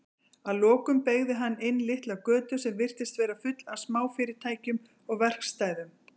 Að lokum beygði hann inn litla götu sem virtist vera full af smáfyrirtækjum og verkstæðum.